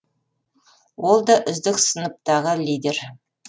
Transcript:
ол да үздік сыныптағы лидер